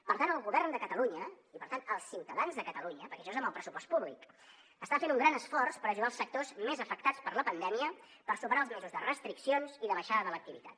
per tant el govern de catalunya i per tant els ciutadans de catalunya perquè això és amb el pressupost públic està fent un gran esforç per ajudar els sectors més afectats per la pandèmia per superar els mesos de restriccions i de baixada de l’activitat